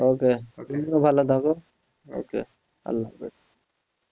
Okay তুমিও ভালো থাকো okay আল্লাহাফিজ